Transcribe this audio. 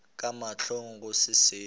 ka mahlong go se seo